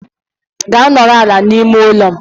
Gaa nọrọ ala n'ime ụlọ!